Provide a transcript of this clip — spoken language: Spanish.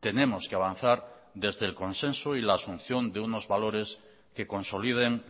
tenemos que avanzar desde el consenso y la asunción de unos valores que consoliden